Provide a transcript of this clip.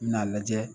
I bi n'a lajɛ